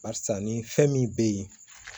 Barisa ni fɛn min bɛ ye